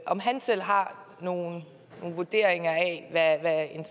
om han selv har nogle vurderinger af hvad en